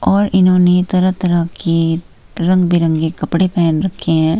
और इन्होंने तरह तरह की रंग बिरंगे कपड़े पहन रखे हैं।